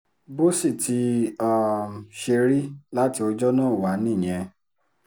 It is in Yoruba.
bó sì ti um ṣe rí láti ọjọ́ náà wá nìyẹn